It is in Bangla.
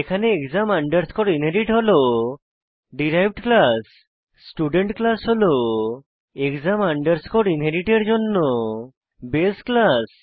এখানে এক্সাম আন্ডারস্কোর ইনহেরিট হল ডিরাইভড ক্লাস স্টুডেন্ট ক্লাস হল এক্সাম আন্ডারস্কোর ইনহেরিট এর জন্য বাসে ক্লাস